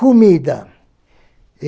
Comida.